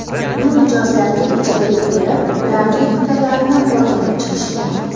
Uni mijozlarga ijaraga berib, ularning fikrlarini o‘rganib chiqishgan.